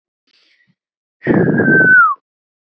Ég reyni aftur